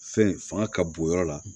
Fɛn fanga ka bon yɔrɔ la